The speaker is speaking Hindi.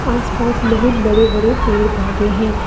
आस पास बहुत बड़े बड़े पेड़ पौधे हैं।